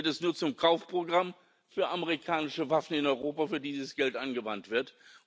Sinn. Dann wird es nur zum Kaufprogramm für amerikanische Waffen in Europa, für die dieses Geld angewandt